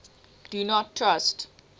do not trust